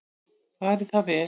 Fari það vel.